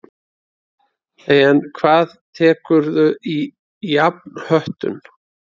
En hvað tekurðu í jafnhöttun?